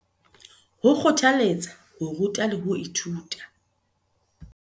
Ho kgothaletsa ho ruta le ho ithuta